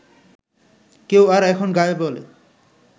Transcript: কেউ আর এখন গায় বলে